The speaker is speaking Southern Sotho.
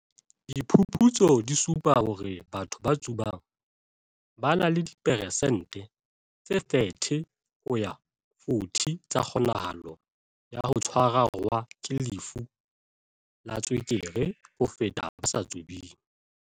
"Diphuputso di supa hore batho ba tsubang ba na le di peresente tse 30 ho ya ho 40 tsa kgonahalo ya ho tshwa rwa ke lefu la tswekere ho feta ba sa tsubeng."